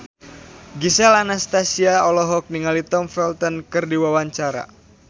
Gisel Anastasia olohok ningali Tom Felton keur diwawancara